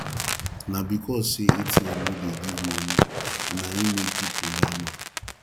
na because sey atm no dey give moni na im make pipu line up